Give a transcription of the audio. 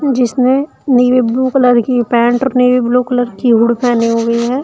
जिसने navy blue colour की pant navy blue colour hood पहनी हुई है।